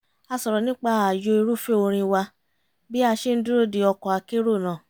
a sọ̀rọ̀ nípa ààyò irúfẹ́ orin wa bí a ṣe ń dúró de ọkọ̀ akérò náà